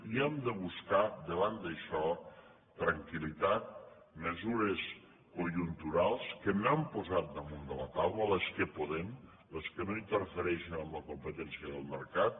i hem de buscar davant d’això tranquil·litat mesures conjunturals que n’hem posat damunt de la taula les que podem les que no in terfereixen en la competència del mercat